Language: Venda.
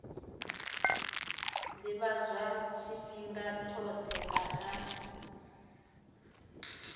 ḓivhadzwa tshifhinga tshoṱhe nga ha